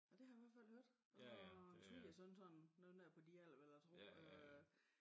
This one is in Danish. Nå det har jeg i hvert fald hørt fra min svigersøn sådan noget nær på din alder vil jeg tro øh